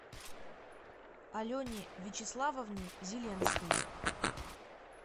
алене вячеславовне зеленской